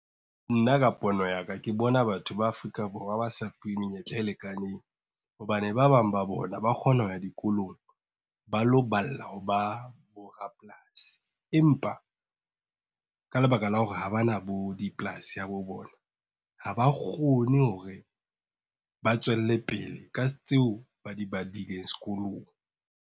Nna ka pono ya ka ke bona batho ba Afrika Borwa ba sa fuwe menyetla e lekaneng. Hobane ba bang ba bona ba kgona ho ya dikolong, ba lo balla hoba bo rapolasi empa, ka lebaka la hore ha ba na bo dipolasi habo bona, ha ba kgone hore, ba tswelle pele ka tseo ba di badileng sekolong.